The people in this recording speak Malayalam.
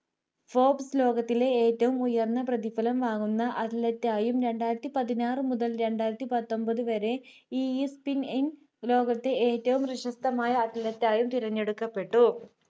popp ലോകത്തിലെ ഏറ്റവും ഉയർന്ന പ്രതിഫലം വാങ്ങുന്ന athlete യും രണ്ടായിരത്തി പതിനാറു മുതൽ രണ്ടായിരത്തി പത്തൊൻപത് വരെ ESBIN ഇൻ ലോകത്തെ ഏറ്റവും പ്രശസ്തമായ athlete ആയും തിരഞ്ഞെടുക്കപ്പെട്ടു